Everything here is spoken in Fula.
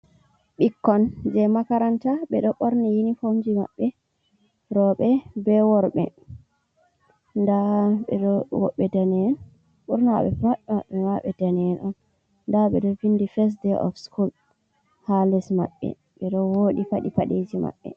Ɓikkon jey makaranta, ɓe ɗo ɓorni inifomji maɓɓe rowɓe be worɓe .Ndaa be woɓɓe danee'enn, ɓurna maɓɓe ma pat ɓe danee'en on. Ndaa ɓe ɗo vinndi fes de oof sikul haa les maɓɓe ,ɓe ɗo wooɗi faɗi paɗeeji maɓɓe.